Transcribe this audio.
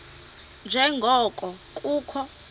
nje ngoko kukho